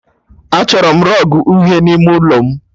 Achọrọ m rọgụ uhie n'ime ụlọ m